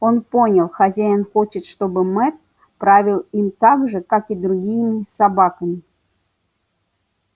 он понял хозяин хочет чтобы мэтт правил им так же как и другими собаками